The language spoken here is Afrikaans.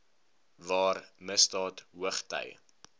waar misdaad hoogty